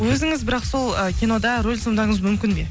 өзіңіз бірақ сол кинода рөл сомдауыңыз мүмкін бе